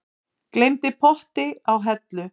Gleymdi potti á hellu